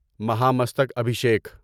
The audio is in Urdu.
مہا مستک ابھیشیکھ